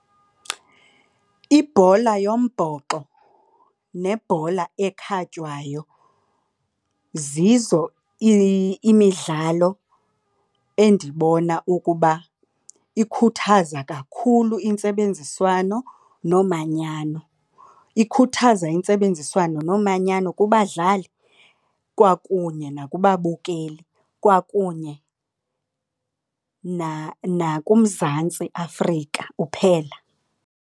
Ibhola yombhoxo nebhola ekhatywayo zizo imidlalo endibona ukuba ikhuthaza kakhulu intsebenziswano nomanyano. Ikhuthaza intsebenziswano nomanyano kubadlali kwakunye nakubabukeli, kwakunye nakuMzantsi Afrika uphela.